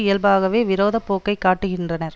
இயல்பாகவே விரோத போக்கை காட்டுகின்றனர்